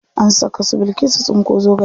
An saka su bilkisu tsinko zogale.